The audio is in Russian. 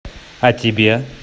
а тебе